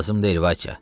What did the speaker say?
Lazım deyil Vasya.